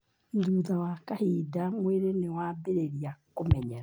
No thutha wa kahinda, mwĩrĩ nĩ wambĩrĩria kũmenyera.